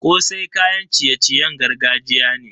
Kosai kayan ciye-ciyen gargajiya ne.